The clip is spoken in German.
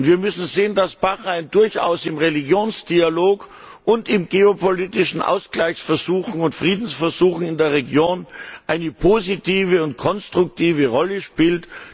Und wir müssen sehen, dass Bahrain durchaus im Religionsdialog und in geopolitischen Ausgleichsversuchen und Friedensversuchen in der Region eine positive und konstruktive Rolle spielt.